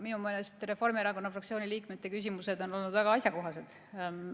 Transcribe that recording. Minu meelest on Reformierakonna fraktsiooni liikmete küsimused olnud väga asjakohased.